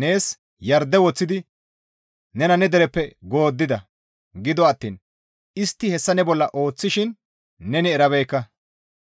nees yarde woththidi nena ne dereppe gooddida; gido attiin istti hessa ne bolla ooththishin neni erabeekka.